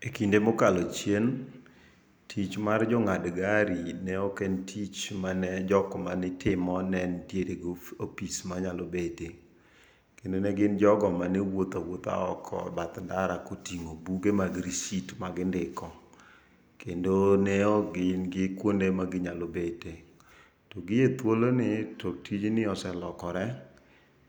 E kinde mokalo chien, tich mar jong'ad gari ne oken tich mane jokmane timo ne entiere go opis manyalo bete. Kendo ne gin jogo mane wuotha wuotha oko e bath ndara koting'o buge mag rishit, magindiko kendo ne okgin gi kuonde maginyalo bete. To gi e thulo ni to tijni oselokore,